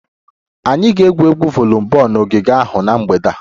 Anyị ga-egwu voliboolu n'ogige ahụ na mgbede a